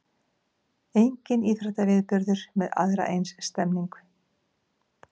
Enginn íþróttaviðburður með aðra eins stemningu